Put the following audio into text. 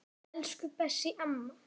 Elsku Bessý amma.